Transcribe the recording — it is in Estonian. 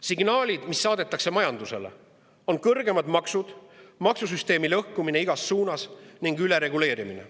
Signaalid, mis saadetakse majandusele, on kõrgemad maksud, maksusüsteemi lõhkumine igas suunas ning ülereguleerimine.